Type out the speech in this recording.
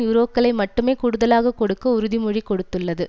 யூரோக்களை மட்டுமே கூடுதலாக கொடுக்க உறுதிமொழி கொடுத்துள்ளது